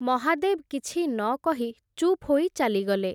ମହାଦେବ୍ କିଛି ନ କହି, ଚୁପ୍ ହୋଇ ଚାଲିଗଲେ ।